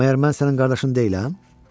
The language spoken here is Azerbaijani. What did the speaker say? Məyər mən sənin qardaşın deyiləm?